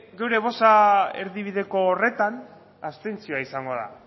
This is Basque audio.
gure bozka erdibideko horretan abstentzioa izango da